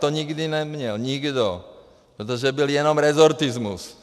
To nikdy nikdo neměl, protože byl jenom resortismus.